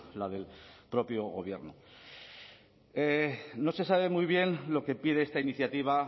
la del propio gobierno no se sabe muy bien lo que pide esta iniciativa